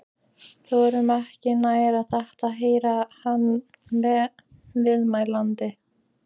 . þorum ekki nær en þetta- heyrði hann viðmælanda